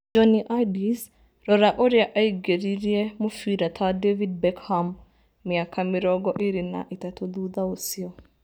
Jonny Addis: rora ũrĩa aingĩririe mũbira ta David Beckham mĩaka mĩrongo ĩĩrĩ na ĩtatũ thutha ũcio